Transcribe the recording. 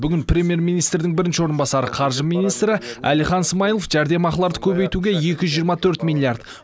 бүгін премьер министрдің бірінші орынбасары қаржы министрі әлихан смайылов жәрдемақыларды көбейтуге екі жүз жиырма төрт миллиард